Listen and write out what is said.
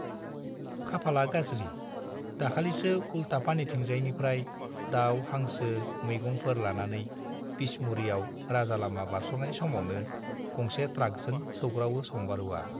खाफाला गाज्रि - दाखालिसो उल्टापानिथिंजायनिफ्राय दाउ, हांसो, मैगंफोर लानानै बिसमुरियाव राजालामा बारस'नाय समावनो गंसे ट्राकजों सौग्रावो सम्बारुवा।